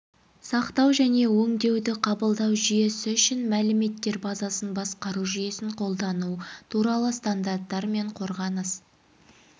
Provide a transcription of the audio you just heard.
сақтау және өңдеуді қабылдау жүйесі үшін мәліметтер базасын басқару жүйесін қолдану туралы стандарттар мен қорғаныс